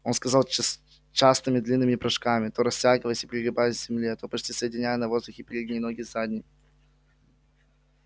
он скакал частыми длинными прыжками то растягиваясь и пригибаясь к земле то почти соединяя на воздухе передние ноги с задними